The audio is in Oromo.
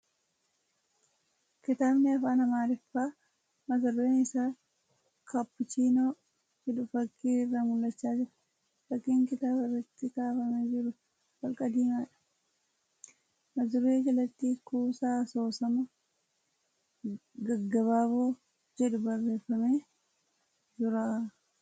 Kitaabni afaan Amaariffaa mata dureen isaa ' kaappuchiinoo' jedhu fakkii irraa mul'achaa jira . Fakkiin kitaaba irratti kaafamee jiru holqa diimaadha. Mata duree jalatti ' Kuusaa Asoosama Gaggabaaboo ' jedhu barreeffamee jira.